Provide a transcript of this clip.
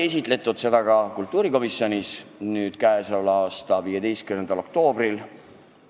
Eelnõu sai kultuurikomisjonis esitletud k.a 15. oktoobril.